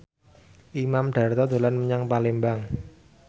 Imam Darto dolan menyang Palembang